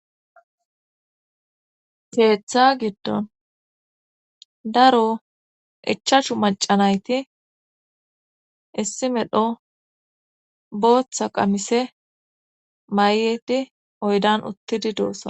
Keetha giddon daro ichashu macanayti issi medho booththa qamise may7edi oydan uttidi doossa